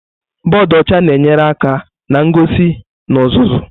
Bọdụ ọcha na-enyere aka na ngosi na ọzụzụ.